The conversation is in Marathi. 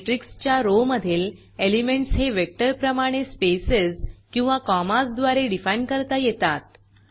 मॅट्रिक्सच्या रो मधील एलिमेंटस हे वेक्टर प्रमाणे स्पेसेज किंवा कॉमाज द्वारे डिफाईन करता येतात